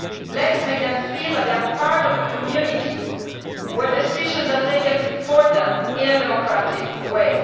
Let us make them feel that they are part of a community where decisions are taken for them in a democratic way.